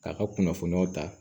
K'a ka kunnafoniyaw ta